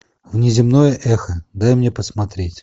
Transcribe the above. внеземное эхо дай мне посмотреть